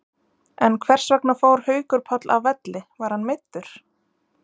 En hversvegna fór Haukur Páll af velli, var hann meiddur?